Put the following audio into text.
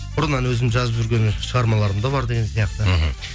бұрыннан өзім жазып жүрген шығармаларым да бар деген сияқты мхм